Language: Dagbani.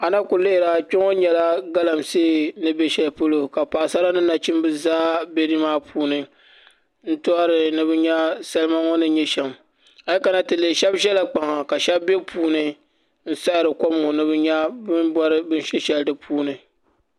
A na ku lihira kpɛ ŋo nyɛla galamsee ni bɛ shɛli polo ka paɣasara ni nachimbi zaa bɛ nimaani n choɣari ni bi nyɛ salima ŋo ni bɛ shɛm a yi kana ti lihi shab ʒɛla kpaŋa ka shab bɛ puuni n siɣiri kom ŋo ni bi nya bin bori binshɛ shɛli di puuni